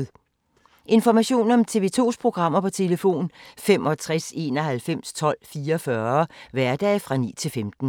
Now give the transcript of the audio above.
Information om TV 2's programmer: 65 91 12 44, hverdage 9-15.